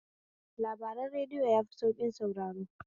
Labaran radiyo yafi sauƙin saurare